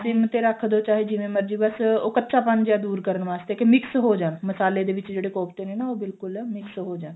sim ਤੇ ਰੱਖਦੋ ਚਾਹੇ ਜਿਵੇਂ ਮਰਜੀ ਬੱਸ ਉਹ ਕੱਚਾਪਨ ਜਾ ਦੂਰ ਕਰਨ ਵਾਸਤੇ ਕੀ mix ਹੋ ਜਾਵੇ ਮਸਾਲੇ ਦੇ ਵਿੱਚ ਜਿਹੜੇ ਕੋਫਤੇ ਨੇ ਨਾ ਉਹ ਬਿਲਕੁਲ mix ਹੋ ਜਾਣ